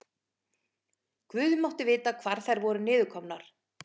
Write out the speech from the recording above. Guð mátti vita hvar þær voru niðurkomnar.